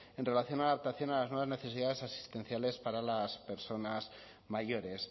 en relación a la adaptación a las nuevas necesidades asistenciales para las personas mayores